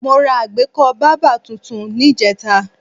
Mo ra àgbékọ́ bábà tuntun níjẹta